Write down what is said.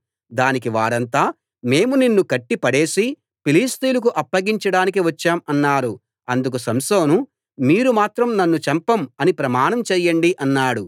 దానికి వారంతా మేము నిన్ను కట్టి పడేసి ఫిలిష్తీయులకు అప్పగించడానికి వచ్చాం అన్నారు అందుకు సంసోను మీరు మాత్రం నన్ను చంపం అని ప్రమాణం చేయండి అన్నాడు